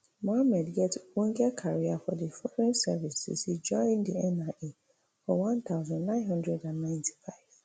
muhammed get ogbonge career for di foreign service since e join di nia for one thousand, nine hundred and ninety-five